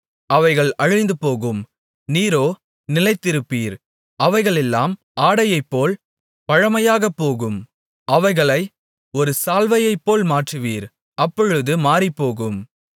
அவைகள் அழிந்துபோகும் நீரோ நிலைத்திருப்பீர் அவைகளெல்லாம் ஆடையைப்போல் பழமையாகப்போகும் அவைகளை ஒரு சால்வையைப்போல் மாற்றுவீர் அப்பொழுது மாறிப்போகும்